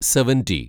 seventy